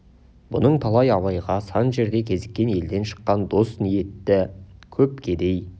бұның талайы абайға сан жерде кезіккен елден шыққан дос ниетті көп кедей